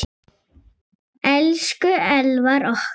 Elsku Elvar okkar.